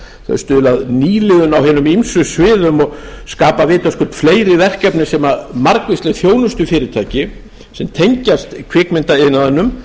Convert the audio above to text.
þau stuðla að nýliðun á hinum ýmsu sviðum og skapa vitaskuld fleiri verkefni sem margvísleg þjónustufyrirtæki sem tengjast kvikmyndaiðnaðinum